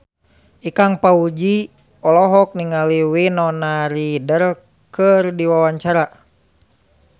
Ikang Fawzi olohok ningali Winona Ryder keur diwawancara